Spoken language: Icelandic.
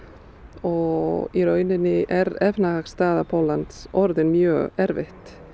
og í rauninni er efnahagsstaða Póllands orðin mjög erfið